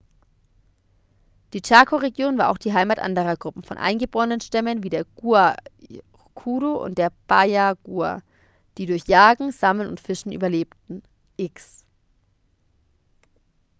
die chaco-region war auch die heimat anderer gruppen von eingeborenenstämmen wie der guaycurú und der payaguá die durch jagen sammeln und fischen überlebten.x